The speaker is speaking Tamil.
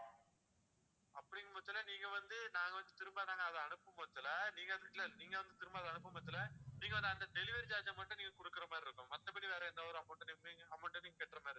அப்படிங்கற பட்சத்துல நீங்க வந்து நாங்க வந்து திரும்ப நாங்க அதை அனுப்பும் பட்சத்துல நீங்க வந்து இல்லல நீங்க வந்து திரும்ப அனுப்பும் பட்சத்துல நீங்க அந்த delivery charge மட்டும் நீங்க கொடுக்குற மாதிரி இருக்கும் மத்தபடி வேற எந்த ஒரு amount நீங்க amount எதுவும் நீங்க கட்டுற மாதிரி